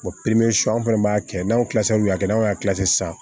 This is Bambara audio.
anw fɛnɛ b'a kɛ n'anw n'anw y'a sisan